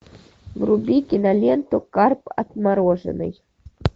вруби киноленту карп отмороженный